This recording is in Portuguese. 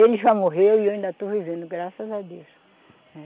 Ele já morreu e eu ainda estou vivendo, graças a Deus, né.